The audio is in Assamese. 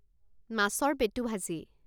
মাছৰ পেটু ভাজি